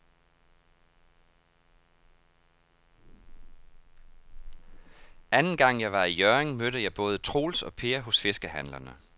Anden gang jeg var i Hjørring, mødte jeg både Troels og Per hos fiskehandlerne.